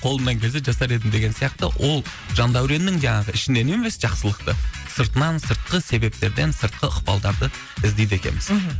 қолымнан келсе жасар едім деген сияқты ол жандәуреннің де а ішінен емес жақсылықты сыртынан сыртқы себептерден сыртқы ықпалдарды іздейді екенбіз мхм